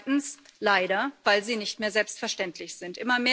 Zweitens leider weil sie nicht mehr selbstverständlich sind.